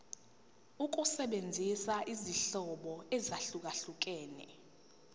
ukusebenzisa izinhlobo ezahlukehlukene